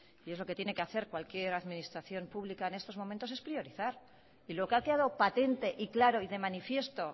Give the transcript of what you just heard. y es lo que tiene que hacer cualquier administración pública en estos momentos es priorizar y lo que ha quedado patente y claro y de manifiesto